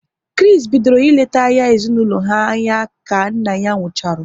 Kris bidoro ị lete ahia ezinaụlọ ha anya ka nna ya nkwucharu